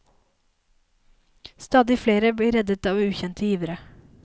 Stadig flere blir reddet av ukjente givere.